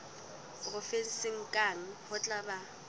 provenseng kang ho tla ba